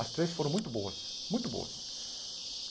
As três foram muito boas, muito boas.